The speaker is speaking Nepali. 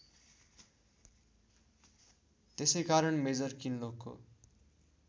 त्यसैकारण मेजर किनलोकको